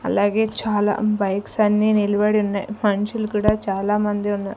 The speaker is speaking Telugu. అలాగే చాలా బైక్స్ అన్ని నిలబడి ఉన్నాయి మనుషులు కూడా చాలామంది ఉన్నారు.